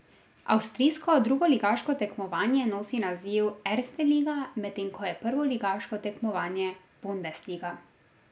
Avstrijsko drugoligaško tekmovanje nosi naziv Erste Liga, medtem ko je prvoligaško tekmovanje Bundesliga.